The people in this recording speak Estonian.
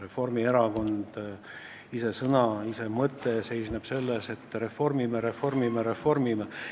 Juba erakonna nimes on sõna, mille mõte seisneb selles, et reformime, reformime, reformime.